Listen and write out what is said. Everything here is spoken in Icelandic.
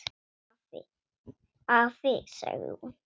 Afi, sagði hún.